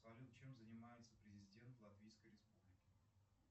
салют чем занимается президент латвийской республики